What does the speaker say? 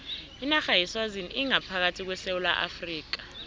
inarha yeswazini ingaphakathi kwesewula afrika